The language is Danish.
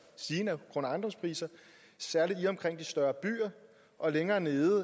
stigende grund og ejendomspriser særlig i og omkring de større byer og længere nede